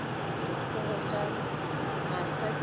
dikgogo tša masa di lla